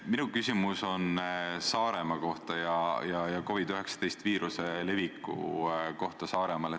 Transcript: Minu küsimus on Saaremaa kohta ja COVID-19 viiruse leviku kohta Saaremaal.